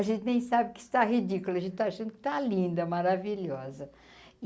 A gente nem sabe que está ridículo, a gente está achando que está linda, maravilhosa.